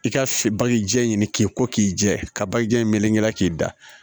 I ka bagi jɛ ɲini k'i ko k'i jɛ ka bajijan melekela k'i da